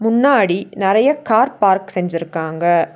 முன்னாடி நறைய car park செஞ்சிருக்காங்க.